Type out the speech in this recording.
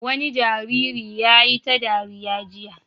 Wani jariri ya yi ta dariya jiya.